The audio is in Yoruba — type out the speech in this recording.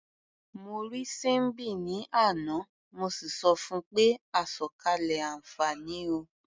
Mo rí Síḿbì ní àná, mo sì sọ fun pé "àsọ̀kalẹ̀ àǹfààní o".